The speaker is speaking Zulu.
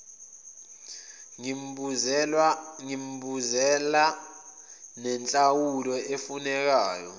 ngimbuzela nenhlawulo efunekayo